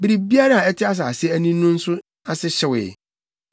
Biribiara a ɛte asase ani no nso ase hyewee.